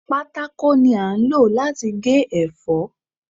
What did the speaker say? Pátákó ni a ń lò láti gé ẹ̀fọ́.